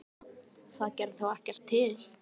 Jæja, það gerði þá ekkert til.